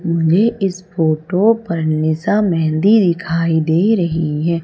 मुझे इस फोटो पर निशा मेहंदी दिखाई दे रही है।